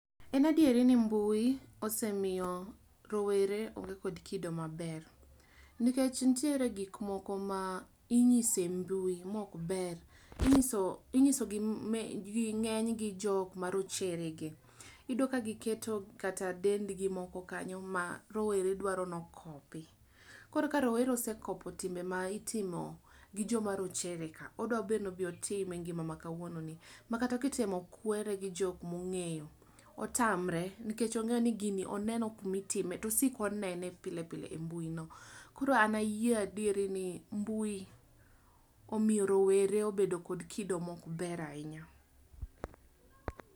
En adieri ni mbui osemiyo rowere onge kod kido maber. Nikech nitiere gik moko ma inyiso e mbui ma ok ber. Inyiso, inyiso gi ng'eny gi jok ma rochere gi. Iyudo ka giketo kata dendgi moko kanyo ma rowere dwaro ni okopi. Koro ka rowere osekopo timbe ma itimo gi joma rochere ka, odwa be ni obi otim e ngima ma kawuono ni. Ma kata kitemo kwere gi jok mong'eyo, otamre. Nikech ong'eyo ni gini oneno kuma itime, tosik onene pile pile e mbui no. Koro an ayie adieri ni mbui omiyo rowere obedo kod kido ma ok ber ahinya.